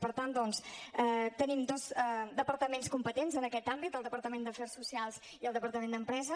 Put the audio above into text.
per tant doncs tenim dos departaments competents en aquest àmbit el departament d’afers socials i el departament d’empresa